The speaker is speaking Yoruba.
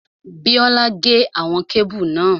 Bíọ́lá gé àwọn kébù náà